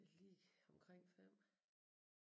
Lige omkring 5